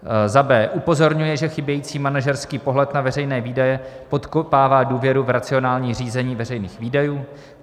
b. upozorňuje, že chybějící manažerský pohled na veřejné výdaje podkopává důvěru v racionální řízení veřejných výdajů;